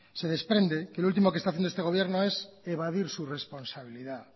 se desprende que lo último que está haciendo este gobierno es evadir su responsabilidad